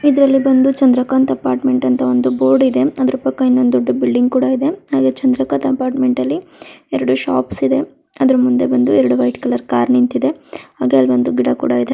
ಇದ್ರಲ್ಲಿ ಬಂದು ಚಂದ್ರಕಾಂತ ಅಪಾರ್ಟ್ಮೆಂಟ್ ಒಂದು ಬೋರ್ಡ್ ಇದೆ ಅದ್ರ ಪಕ್ಕ ಇನ್ನೊಂದ್ ದೊಡ್ಡ ಬಿಲ್ಡಿಂಗ್ ಕೂಡಾ ಇದೆ. ಹಾಗೆ ಚಂದ್ರಕಾಂತ ಅಪಾರ್ಟ್ಮೆಂಟ್ ಅಲ್ಲಿ ಎರಡು ಶಾಪ್ಸ್ ಇದೆ. ಅದ್ರ ಮುಂದೆ ಬಂದು ಎರಡು ವೈಟ್ ಕಲರ್ ಕಾರ್ ನಿಂತಿದೆ. ಹಾಗೆ ಅಲ ಒಂದು ಗಿಡ ಕೂಡ ಇದೆ.